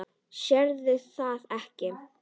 Sérðu það ekki?